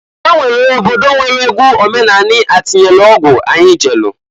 Onwere obodo nwere egwu omenani atịnyelu ọgwụ anyi jelu.